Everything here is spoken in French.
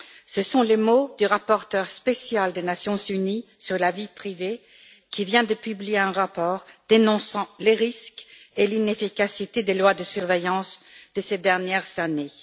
Ce sont les mots du rapporteur spécial des Nations unies sur le droit à la vie privée qui vient de publier un rapport dénonçant les risques et l'inefficacité des lois de surveillance de ces dernières années.